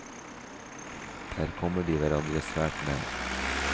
Der kommer de hverandre svært nær.